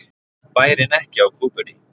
Bærinn ekki á kúpunni